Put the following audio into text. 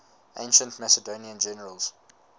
ancient macedonian generals